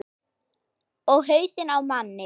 Og hausinn á manni.